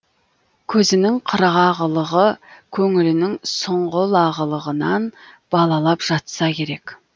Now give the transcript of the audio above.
көзінің қырғағылығы көңілінің сұңғылағылығынан балалап жатса керек